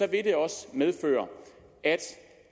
vil det også medføre at